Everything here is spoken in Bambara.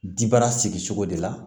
Dibara sigicogo de la